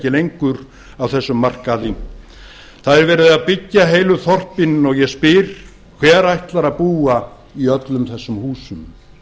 lengur á þessum markaði það er verið að byggja heilu þorpin og ég spyr hver ætlar að búa í öllum þessum húsum